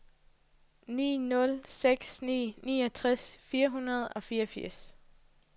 ni nul seks ni niogtres fire hundrede og fireogfirs